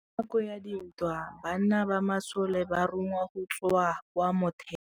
Ka nakô ya dintwa banna ba masole ba rongwa go tswa kwa mothêô.